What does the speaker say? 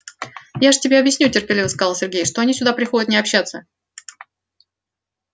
я же тебе объясню терпеливо сказал сергей что они сюда приходят не общаться